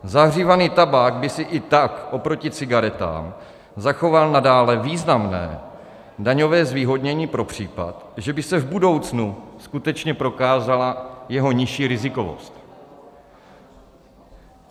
Zahřívaný tabák by si i tak oproti cigaretám zachoval nadále významné daňové zvýhodnění pro případ, že by se v budoucnu skutečně prokázala jeho nižší rizikovost.